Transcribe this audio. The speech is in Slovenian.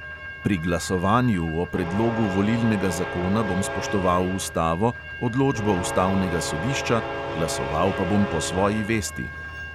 Pri glasovanju o predlogu volilnega zakona bom spoštoval ustavo, odločbo ustavnega sodišča, glasoval pa bom po svoji vesti.